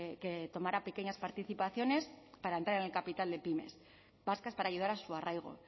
que tomará pequeñas participaciones para entrar en el capital de pymes vascas para ayudar a su arraigo